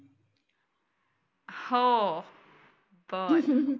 हो बरं